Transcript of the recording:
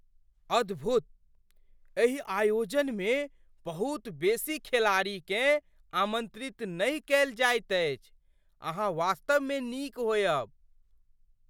अद्भुत! एहि आयोजनमे बहुत बेसी खे लाड़ीकेँ आमन्त्रित नहि कयल जाइत अछि। अहाँ वास्तवमे नीक होयब!